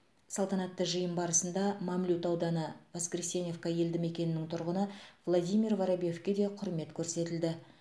салтанатты жиын барысында мамлют ауданы воскресеновка елді мекенінің тұрғыны владимир воробьевке де құрмет көрсетілді